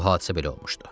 Bu hadisə belə olmuşdu.